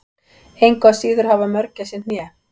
engu að síður hafa mörgæsir hné